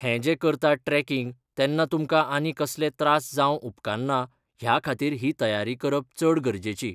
हें जें करता ट्रॅकींग तेन्ना तुमकां आनी कसले त्रास जावं उपकान्ना, त्या खातीर ही तयारी करप चड गरजेची.